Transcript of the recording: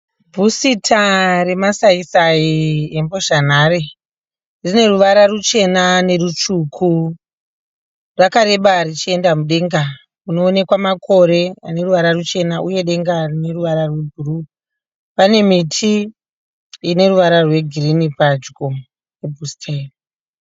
Bhusita remasayi sayi embhozha nhare neruvara ruchena nerutsvuku. Rakareba richienda mudenga munoonekwa denga mune makore aneruvara ruchena. Pane ine ruvara rwegirinhi padyo pabhusita iri.